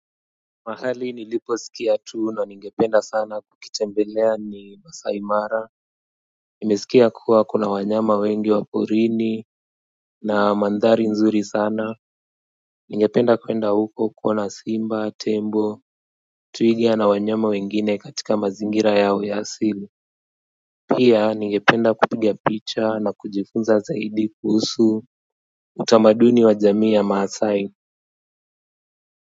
Mahali nilipo sikia tu na ningependa sana kukitembelea ni masai mara. Nimesikia kuwa kuna wanyama wengi wa porini na mandhari nzuri sana ningependa kuenda huko kuona simba tembo twiga na wanyama wengine katika mazingira yao ya asili pia ningependa kupigia picha na kujifunza zaidi kuhusu utamaduni wa jamii ya maasai.